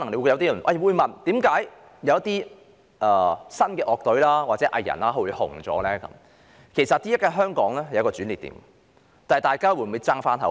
有些人可能會對一些新晉樂隊和藝人走紅感到不明所以，但現時的香港正處於一個轉捩點，看看大家會否爭一口氣。